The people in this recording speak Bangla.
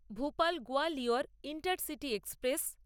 Bhopal Gwalior intercity express